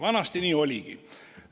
Vanasti nii oligi.